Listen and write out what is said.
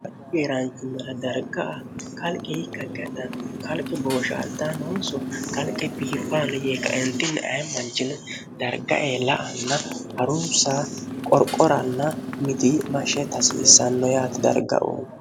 ha weeraanchimmala darga a kalqi ikka gadhan kalqi booshaaltanoonso kalqi biifaano yee kaentnni aemmanchili dargae la anna harunsa qorqoranna miti mashe tasiissanno yaatti dargau